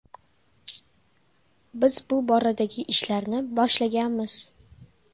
Biz bu boradagi ishlarni boshlaganmiz.